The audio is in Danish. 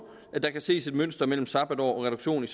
at der kan ses et mønster mellem sabbatår og reduktion i